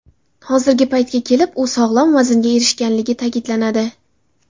Hozirgi paytga kelib u sog‘lom vaznga erishganligi ta’kidlanadi.